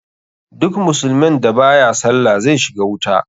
Duk musulmin da baya sallah zai shiga wuta.